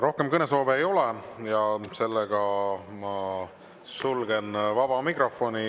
Rohkem kõnesoove ei ole ja ma sulgen vaba mikrofoni.